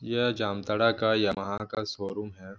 यह जामताड़ा का यामाहा का शोरूम हैं।